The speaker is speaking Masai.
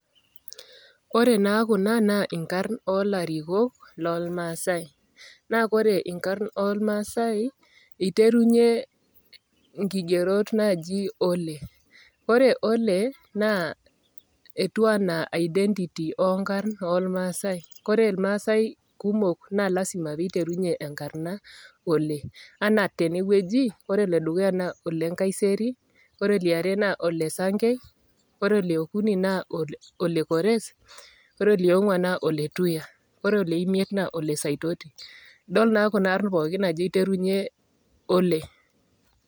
ore naa kuna naa nkarn oolarikok loormaasai, naa ore nkarna oormaasai naa iterunye inkigerot naaji ole, ore ole netiu anaa identity oo nkarn oormaasae ,ore irmaasae kumok, na a lasima pee iterunye enkarna ole, anaa tene wueji, ore ole dukuya naa ole nkaiserry, ore oliare naa ole sankei, ore oliokuni naa ole kores, ore oliong'uan naa ole letuya, ore ole miet naa ole saitoti. idol naa kuna arn pookin ajo iterunye ole.